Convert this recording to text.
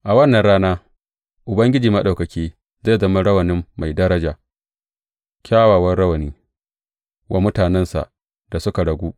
A wannan rana Ubangiji Maɗaukaki zai zama rawani mai daraja kyakkyawan rawani wa mutanensa da suka ragu.